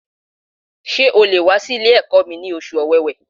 Ṣé o le wà sí Ilé ẹ̀kọ́ mi ní oṣù Ọ̀wẹ̀wẹ̀